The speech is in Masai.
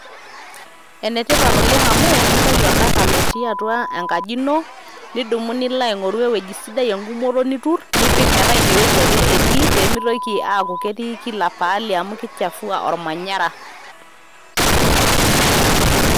Ene tipat amu entau oltaka otii atwa engaji ino nidumu Nilo aing'oru ewuji sidai, egumoto niturr nipik metaa ine weuji ake etii peemitoki aaku ketii Kila pahali amu keichafuwa ormanyara.